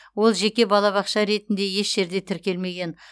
ол жеке балабақша ретінде еш жерде тіркелмеген